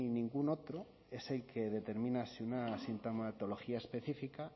ningún otro ese que determina si una sintomatología específica